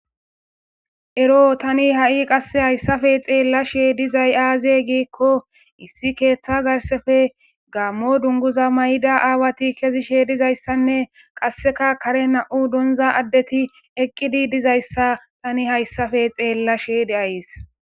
Ero tani ha'i qasse hayssafe xeella she dizay aaze giikko issi keeththa garsefe gammo dunguza may'da aawati kezishe dizayssanne qasseka kare na'u donza addeti eqqidi dizayssa tani hayssafe xeella sheyde ays.